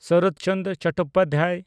Sarat Chandra Chattopadhyay